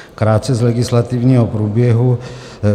Krátce z legislativního průběhu.